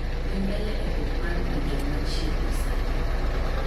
dhi mbele e buk mar winjo ma chiegni sani